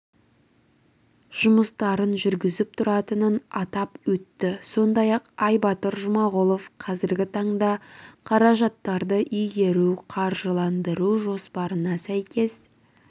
жұмыстарын жүргізіп тұратынын атап өтті сондай-ақ айбатыр жұмағұлов қазіргі таңда қаражаттарды игеру қаржыландыру жоспарына сәйкес